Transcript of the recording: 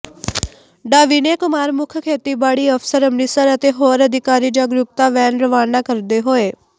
ਡਾ ਵਿਨੈ ਕੁਮਾਰ ਮੁੱਖ ਖੇਤੀਬਾੜੀ ਅਫਸਰ ਅੰਮ੍ਰਿਤਸਰ ਅਤੇ ਹੋਰ ਅਧਿਕਾਰੀ ਜਾਗਰੂਕਤਾ ਵੈਨ ਰਵਾਨਾ ਕਰਦੇ ਹੋਏ